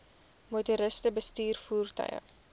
motoriste bestuur voertuie